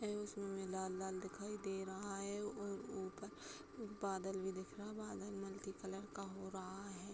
इसमें लाल-लाल दिखाई दे रहा है और उउ ऊपर बादल भी दिख रहा है। बादल मल्टी कलर का हो रहा।